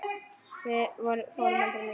Við fórum aldrei neitt.